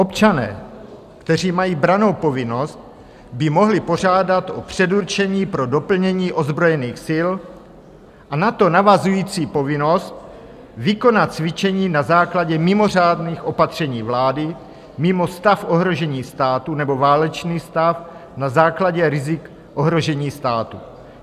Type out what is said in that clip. "Občané, kteří mají brannou povinnost, by mohli požádat o předurčení pro doplnění ozbrojených sil a na to navazující povinnost vykonat cvičení na základě mimořádných opatření vlády mimo stav ohrožení státu nebo válečný stav na základě rizik ohrožení státu."